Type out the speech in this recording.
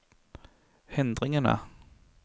hindringene